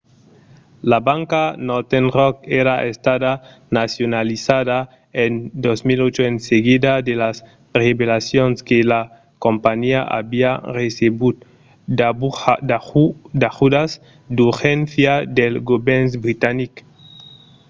la banca northern rock èra estada nacionalizada en 2008 en seguida de las revelacions que la companhiá aviá recebut d'ajudas d'urgéncia del govèrn britanic